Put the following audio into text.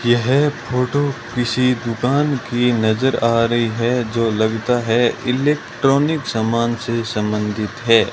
यह फोटू किसी दुकान की नजर आ रहीं हैं जो लगता है इलेक्ट्रॉनिक समान से संबंधित हैं।